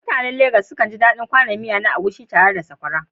Mutanen Legas sukan ji daɗin kwanon miya na Egusi tare da sakwara